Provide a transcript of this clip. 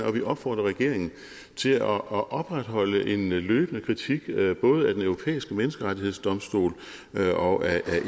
og vi opfordrer regeringen til at opretholde en løbende kritik både af den europæiske menneskerettighedsdomstol og af